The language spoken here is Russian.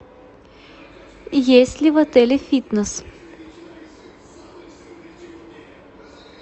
есть ли в отеле фитнес